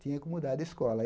tinha que mudar de escola.